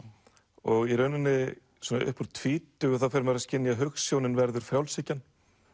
og í rauninni upp úr tvítugu fer maður að skynja að hugsjónin verður frjálshyggjan